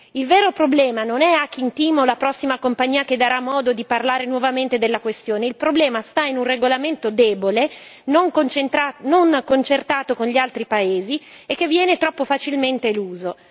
Il vero problema non è Hacking Team o la prossima compagnia che darà modo di parlare nuovamente della questione, il problema sta in un regolamento debole non concertato con gli altri paesi e che viene troppo facilmente eluso.